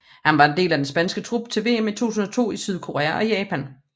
Han var en del af det spanske trup til VM i 2002 i Sydkorea og Japan